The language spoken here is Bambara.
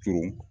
Turun